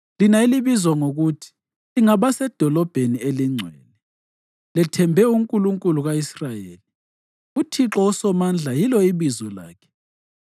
lina elibizwa ngokuthi lingabasedolobheni elingcwele, lethembe uNkulunkulu ka-Israyeli, uThixo uSomandla yilo ibizo lakhe: